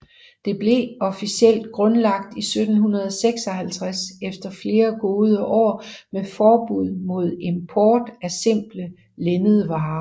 Det blev officielt grundlagt i 1756 efter flere gode år med forbud mod import af simple linnedvarer